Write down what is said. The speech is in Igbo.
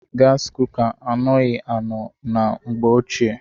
Gaasi kuka anoghi anọ na mgbe ochie.